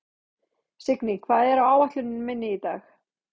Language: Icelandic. Signý, hvað er á áætluninni minni í dag?